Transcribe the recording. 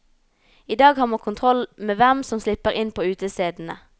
I dag har man kontroll med hvem som slipper inn på utestedene.